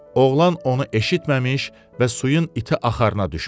Oğlan onu eşitməmiş və suyun iti axarına düşmüşdü.